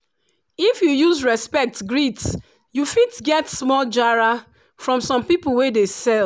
if you use respect greet you fit get small “jara” from some people wey dey sell